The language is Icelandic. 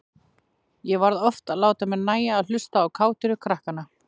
Ég varð oft að láta mér nægja að hlusta á kátínu krakkanna.